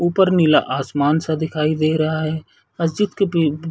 ऊपर नीला आसमान सा दिखाई दिय रहा है मस्जिद के प--